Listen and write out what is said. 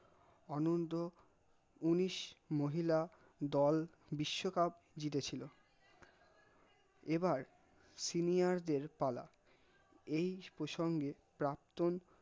অনন্ত উনিশ মহিলা দল বিসশ্বকাপ জিতে ছিল এবার senior দের পালা এই প্রসঙ্গে প্রাক্তন